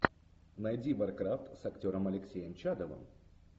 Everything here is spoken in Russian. найди варкрафт с актером алексеем чадовым